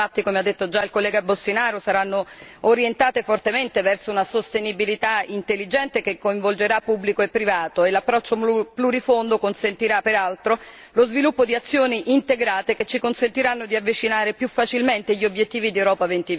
Come già affermato dal collega Boştinaru, le risorse saranno infatti fortemente orientate verso una sostenibilità intelligente, che coinvolgerà pubblico e privato e l'approccio plurifondo consentirà peraltro lo sviluppo di azioni integrate, che ci consentiranno di avvicinare più facilmente gli obiettivi di Europa